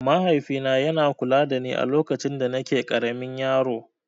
Mahaifina yana kula dani alokacin danake ƙaramin yaro.